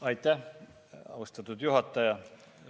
Aitäh, austatud juhataja!